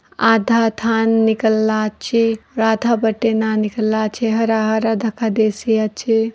आधा धान निकला आचे राधा बटे ना निकला आचे हरा-हरा धका देसे आचे ।